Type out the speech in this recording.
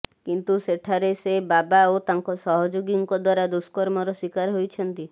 କିନ୍ତୁ ସେଠାରେ ସେ ବାବା ଓ ତାଙ୍କ ସହଯୋଗୀଙ୍କ ଦ୍ୱାରା ଦୁଷ୍କର୍ମର ଶିକାର ହୋଇଛନ୍ତି